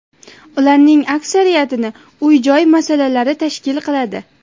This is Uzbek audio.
Ularning aksariyatini uy-joy masalasi tashkil qiladi.